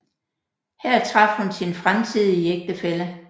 Her traf hun sin fremtidige ægtefælle